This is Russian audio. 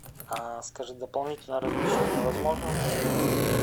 а скажи дополнительное размещение возможно